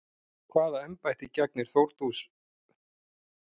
Hvaða embætti gegnir Þórdís Kolbrún Reykfjörð Gylfadóttir?